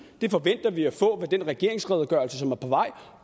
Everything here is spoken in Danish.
det forventer vi at få med den regeringsredegørelse som er på vej